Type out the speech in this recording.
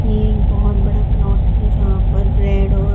ये एक बहोत बड़ा प्लॉट है जहां पर रेड और--